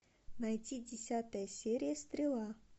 найти десятая серия стрела